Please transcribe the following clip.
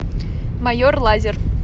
майор лазер